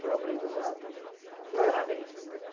Foi um aprendizado também, né, parabéns.